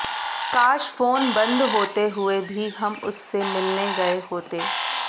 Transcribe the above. काश फोन बंद होते हुए भी हम उससे मिलने गए होते